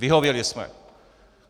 Vyhověli jsme.